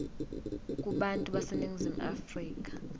kubantu baseningizimu afrika